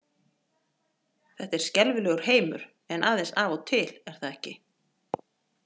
þetta er skelfilegur heimur en aðeins af og til er það ekki?